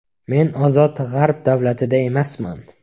Men ozod g‘arb davlatida emasman.